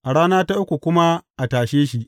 A rana ta uku kuma a tashe shi!